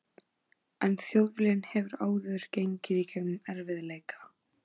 En Þjóðviljinn hefur áður gengið í gegnum erfið- leika.